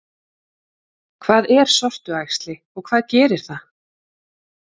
Hvað er sortuæxli og hvað gerir það?